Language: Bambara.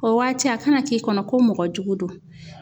O waati a kana k'i kɔnɔ ko mɔgɔ jugu don